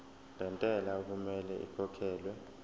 lentela okumele ikhokhekhelwe